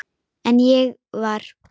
En ég var.